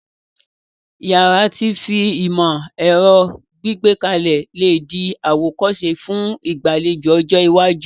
Yàrá ti fi ìmó-èro gbékalẹ̀ le dí àwòkóse fun ìgbàlejò ọjọ́ iwájú